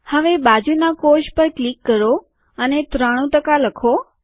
હવે બાજુનાં કોષ પર ક્લિક કરો અને ૯૩ ટકા લખો